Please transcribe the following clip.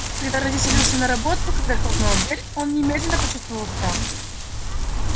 когда родители ушли на работу когда хлопнула дверь он немедленно почувствовал страх